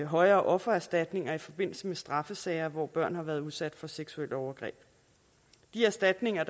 højere offererstatninger i forbindelse med straffesager hvor børn har været udsat for seksuelle overgreb de erstatninger